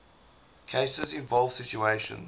cases involve situations